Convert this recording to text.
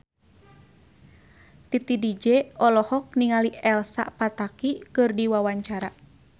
Titi DJ olohok ningali Elsa Pataky keur diwawancara